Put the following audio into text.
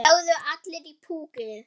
Það lögðu allir í púkkið.